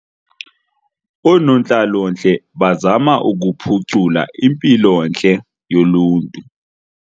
Oonontlalontle bazama ukuphucula impilontle yoluntu.